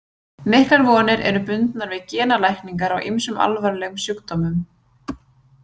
Miklar vonir eru bundnar við genalækningar á ýmsum alvarlegum sjúkdómum.